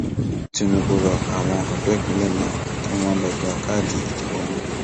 tinúbù rọ àwọn ọdọ ìpínlẹ náà pé kí wọn lọọ gba káàdì ìdìbò wọn